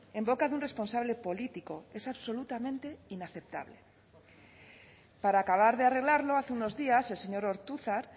en boca de un responsable político es absolutamente inaceptable para acabar de arreglarlo hace unos días el señor ortuzar